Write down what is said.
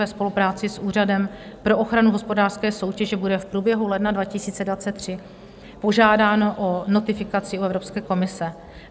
Ve spolupráci s Úřadem pro ochranu hospodářské soutěže bude v průběhu ledna 2023 požádáno o notifikaci u Evropské komise.